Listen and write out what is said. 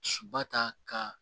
Suba ta ka